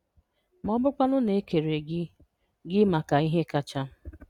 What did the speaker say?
Ma ọ bụrụkwanụ na e kere gị gị maka ihe kacha?